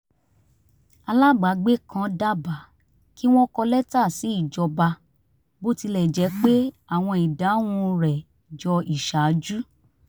alábàágbe kan dábàá kí wọ́n kọ lẹ́tà sí ìjọba bó tilẹ̀ jẹ́ àwọn ìdáhùn rẹ jọ iṣaaju